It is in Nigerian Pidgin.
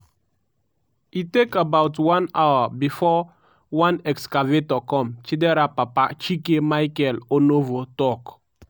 "e take about one hour bifor one excavator come" chidera papa chike michael onovo tok.